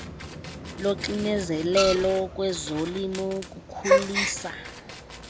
loxinezelelo kwezolimo kukhulisa